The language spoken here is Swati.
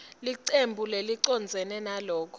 licembu lelicondzene naloko